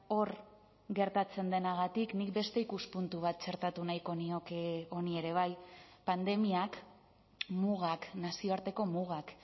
hor gertatzen denagatik nik beste ikuspuntu bat txertatu nahiko nioke honi ere bai pandemiak mugak nazioarteko mugak